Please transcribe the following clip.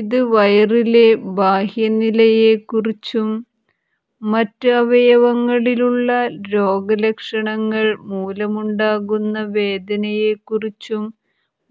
ഇത് വയറിലെ ബാഹ്യ നിലയെക്കുറിച്ചും മറ്റ് അവയവങ്ങളിലുള്ള രോഗലക്ഷണങ്ങൾ മൂലമുണ്ടാകുന്ന വേദനയെക്കുറിച്ചും